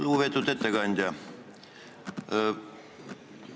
Lugupeetud ettekandja!